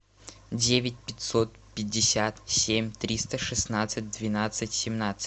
девять пятьсот пятьдесят семь триста шестнадцать двенадцать семнадцать